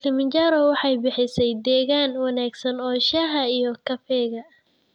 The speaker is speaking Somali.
Kilimanjaro waxay bixisaa deegaan wanaagsan oo shaaha iyo kafeega.